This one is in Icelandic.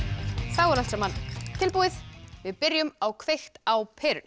þá er allt saman tilbúið við byrjum á kveikt á perunni